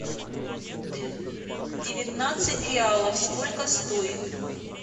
девятнадцать реалов сколько стоит